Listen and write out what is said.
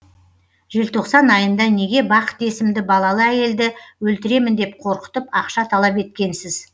желтоқсан айында неге бақыт есімді балалы әйелді өлтіремін деп қорқытып ақша талап еткенсіз